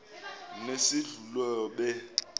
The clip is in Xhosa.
nesedlulube